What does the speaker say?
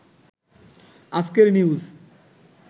আজকের নিউজ